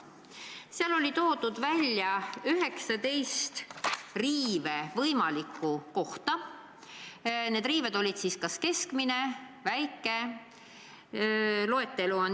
Seal oli kirjas 19 võimalikku riivekohta ja need riived olid kas keskmised või väikesed.